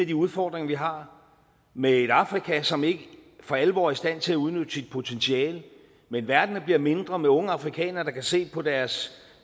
de udfordringer vi har med et afrika som ikke for alvor er i stand til at udnytte sit potentiale med en verden der bliver mindre med unge afrikanere der kan se på deres